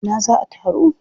A ina za a taru?